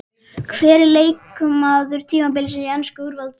Hver er leikmaður tímabilsins í ensku úrvalsdeildinni?